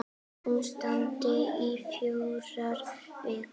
Hún stendur í fjórar vikur.